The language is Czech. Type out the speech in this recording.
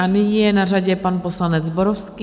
A nyní je na řadě pan poslanec Zborovský.